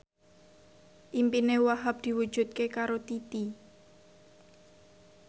impine Wahhab diwujudke karo Titi